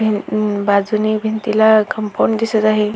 अ बाजूने भिंतीला कम्पाउंड दिसत आहे.